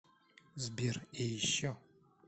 сбер и еще